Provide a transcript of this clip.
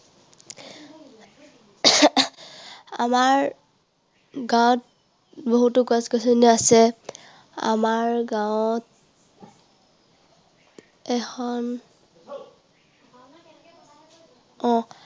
আমাৰ গাঁৱত বহুতো গছ গছনি আছে। আমাৰ গাঁৱত এখন অ।